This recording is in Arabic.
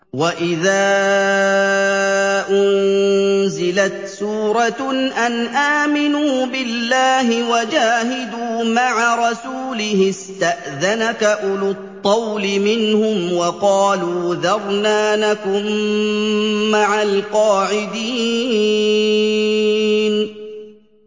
وَإِذَا أُنزِلَتْ سُورَةٌ أَنْ آمِنُوا بِاللَّهِ وَجَاهِدُوا مَعَ رَسُولِهِ اسْتَأْذَنَكَ أُولُو الطَّوْلِ مِنْهُمْ وَقَالُوا ذَرْنَا نَكُن مَّعَ الْقَاعِدِينَ